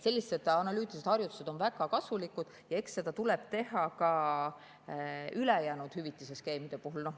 Sellised analüütilised harjutused on väga kasulikud ja eks seda tuleb teha ka ülejäänud hüvitisskeemide puhul.